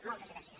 moltes gràcies